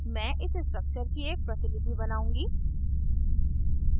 मैं इस structure की एक प्रतिलिपि बनाउंगी